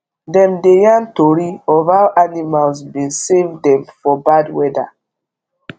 dem dey yarn tori of how animals bin save dem for bad weather